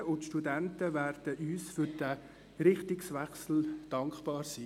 Studentinnen und Studenten werden uns für diesen Richtungswechsel dankbar sein.